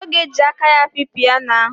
Ọ ga-eji aka ya api piyano ahụ.